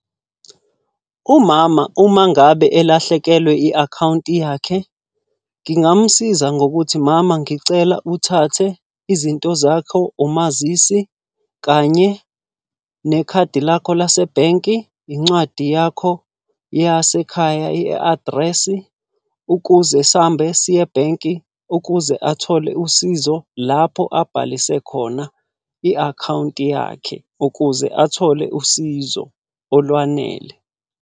Umama uma ngabe elahlekelwe i-akhawunti yakhe, ngingamusiza ngokuthi mama ngicela uthathe izinto zakho, umazisi kanye nekhadi lakho lase bhenki, incwadi yakho yasekhaya i-adresi. Ukuze sihambe siye ebhenki, ukuze athole usizo, lapho abhalise khona i-akhawunti yakhe. Ukuze athole usizo olwanele.